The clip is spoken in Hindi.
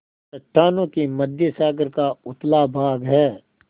चट्टानों के मध्य सागर का उथला भाग है